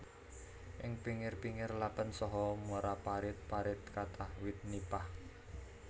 Ing pingir pingir lépén saha muara parit parit kathah wit nipah